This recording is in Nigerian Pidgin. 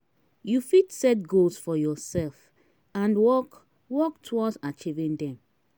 you fit set goals for yourself and work work towards achieving dem.